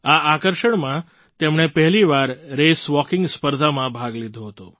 આ આકર્ષણમાં તેમણે પહેલી વાર રેસ વૉકિંગ સ્પર્ધામાં ભાગ લીધો હતો